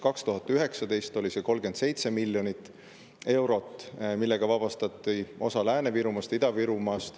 2019. aastal oli see 37 miljonit eurot, millega vabastati osa Lääne-Virumaast ja Ida-Virumaast.